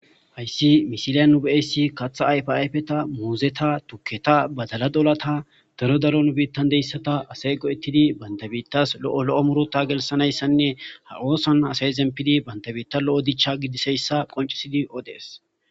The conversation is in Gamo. Hayssi misiliya nube7essi katha ayfayfeta muuzeta tukketa badala dolata daro daron biittan deyssata asey qo ettidi bantabiittas lo7o lo7o murota gelssanayssanne ha oosan asay ezempidi bantabiitta lo7o dicha gidiseyssa qoncisidi odees